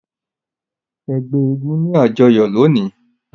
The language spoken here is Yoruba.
Ẹgbẹ èègún ni ajọyọ loni.